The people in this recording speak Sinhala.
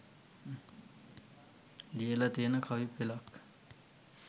ලියල තියෙන කවි පෙළක්.